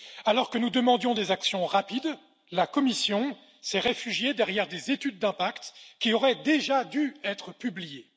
Alors que nous demandions des actions rapides, la Commission s'est réfugiée derrière des études d'impact qui auraient déjà dû être publiées.